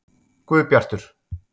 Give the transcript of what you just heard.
Guðbjartur